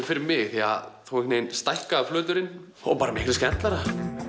fyrir mig því að þá stækkaði flöturinn og bara miklu skemmtilegra